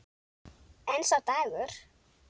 En sá dagur!